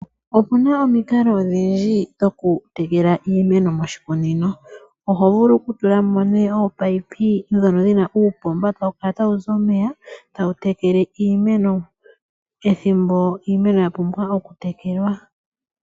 Opena omikalo odhindji dhokutekela iimeno moshikunino oho vulu okutula mo ominino ndhono dhina uupomba tawu kala tawuzi omeya tawu tekele iimeno. Ethimbo iimeno yapumbwa okutekelwa.